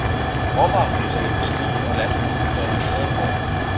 Råvarepriserne vil stige, og landbruget vil være i bedre form.